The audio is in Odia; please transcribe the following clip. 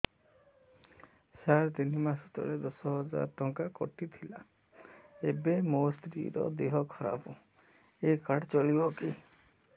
ସାର ତିନି ମାସ ତଳେ ଦଶ ହଜାର ଟଙ୍କା କଟି ଥିଲା ଏବେ ମୋ ସ୍ତ୍ରୀ ର ଦିହ ଖରାପ ଏ କାର୍ଡ ଚଳିବକି